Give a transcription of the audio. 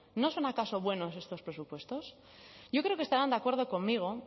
no son acaso buenos estos presupuestos yo creo que estarán de acuerdo conmigo